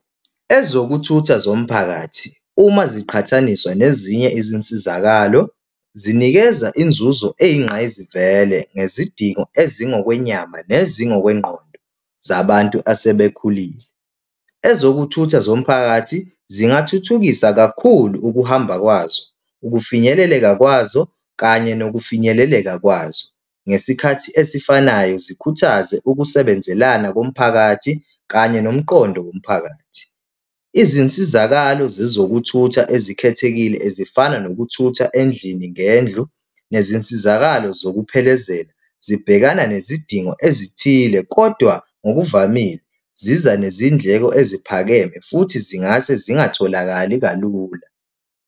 Ezokuthutha zomphakathi uma ziqhathaniswa nezinye izinsizakalo zinikeza inzuzo eyingqayizivele ngezidingo ezingokwenyama, nezingokwengqondo zabantu asebekhulile. Ezokuthutha zomphakathi zingathuthukisa kakhulu ukuhamba kwazo, ukufinyeleleka kwazo, kanye nokufinyeleleka kwazo ngesikhathi esifanayo zikhuthaze ukusebenzelana komphakathi kanye nomqondo womphakathi. Izinsizakalo zezokuthutha ezikhethekile ezifana nokuthutha endlini ngendlu nezinsizakalo zokuphelezela, zibhekana nezidingo ezithile kodwa ngokuvamile ziza nezindleko eziphakeme futhi zingase zingatholakali kalula.